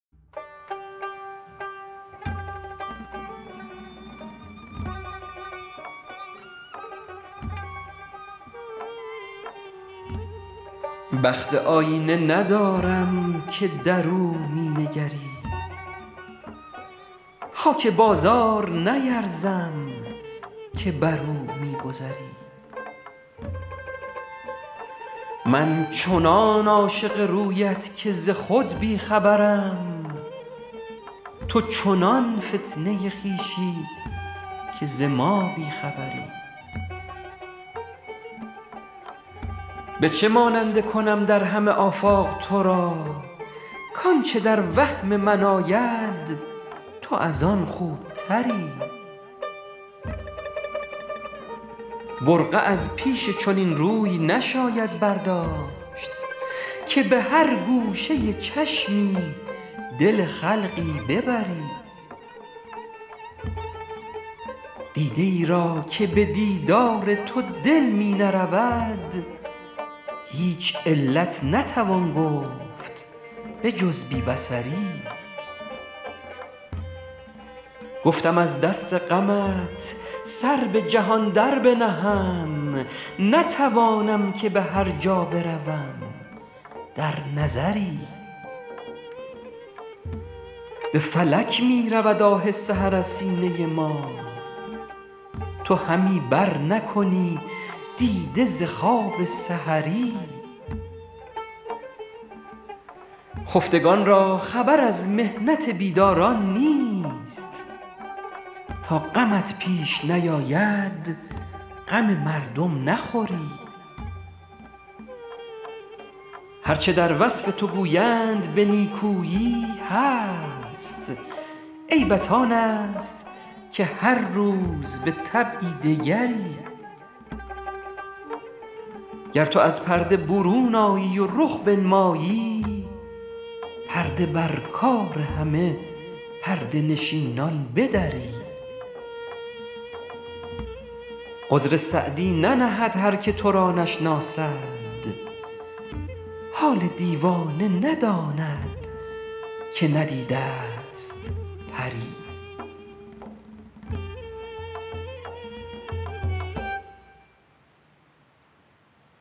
بخت آیینه ندارم که در او می نگری خاک بازار نیرزم که بر او می گذری من چنان عاشق رویت که ز خود بی خبرم تو چنان فتنه خویشی که ز ما بی خبری به چه ماننده کنم در همه آفاق تو را کآنچه در وهم من آید تو از آن خوبتری برقع از پیش چنین روی نشاید برداشت که به هر گوشه چشمی دل خلقی ببری دیده ای را که به دیدار تو دل می نرود هیچ علت نتوان گفت به جز بی بصری گفتم از دست غمت سر به جهان در بنهم نتوانم که به هر جا بروم در نظری به فلک می رود آه سحر از سینه ما تو همی برنکنی دیده ز خواب سحری خفتگان را خبر از محنت بیداران نیست تا غمت پیش نیاید غم مردم نخوری هر چه در وصف تو گویند به نیکویی هست عیبت آن است که هر روز به طبعی دگری گر تو از پرده برون آیی و رخ بنمایی پرده بر کار همه پرده نشینان بدری عذر سعدی ننهد هر که تو را نشناسد حال دیوانه نداند که ندیده ست پری